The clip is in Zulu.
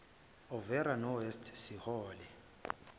overa nowest sihole